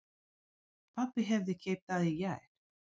Pabbi hafði keypt það í gær.